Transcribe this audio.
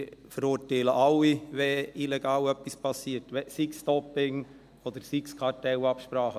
Wir verurteilen alle, wenn etwas illegal geschieht, sei es Doping, oder seien es Kartellabsprachen.